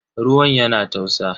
Ruwan yana tausa.